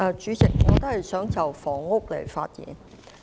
主席，我也想就房屋範疇發言。